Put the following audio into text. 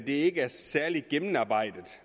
ikke er særlig gennemarbejdet